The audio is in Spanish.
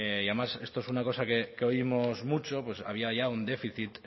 y además esto es una cosa que oímos mucho pues había ya un déficit